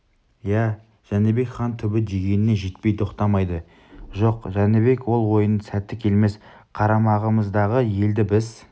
иә жәнібек хан түбі дегеніне жетпей тоқтамайды жоқ жәнібек ол ойыңның сәті келмес қарамағымыздағы елді біз